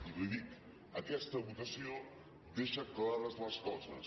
i li ho dic aquesta votació deixa clares les coses